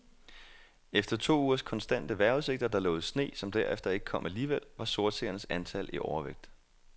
Efter to ugers konstante vejrudsigter, der lovede sne, som derefter ikke kom alligevel, var sortseernes antal i overvægt.